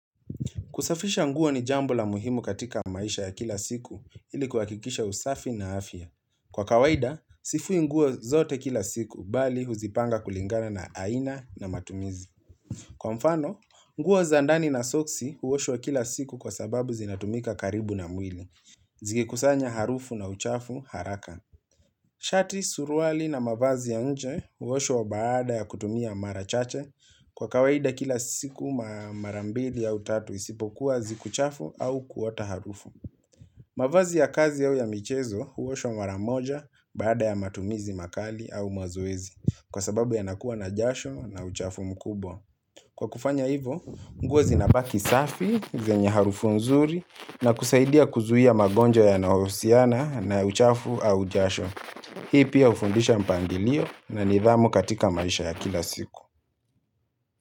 Kusafisha nguo ni jambo la muhimu katika maisha ya kila siku ili kuhakikisha usafi na afya. Kwa kawaida, sifui nguo zote kila siku bali huzipanga kulingana na aina na matumizi. Kwa mfano, nguo za ndani na soksi huoshwa kila siku kwa sababu zinatumika karibu na mwili. Zikikusanya harufu na uchafu haraka. Shati suruali na mavazi ya nje huoshwa baada ya kutumia mara chache kwa kawaida kila siku marambili au tatu isipokuwa siku chafu au kuota harufu. Mavazi ya kazi au ya michezo huoshwa maramoja baada ya matumizi makali au mazoezi kwa sababu yanakuwa na jasho na uchafu mkubwa. Kwa kufanya hivo, nguo zinabaki safi, zenye harufu nzuri na kusaidia kuzuia magonjwa yanayohusiana na uchafu au jasho. Hii pia hufundisha mpangilio na nidhamu katika maisha ya kila siku.